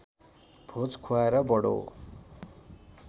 भोज खुवाएर बडो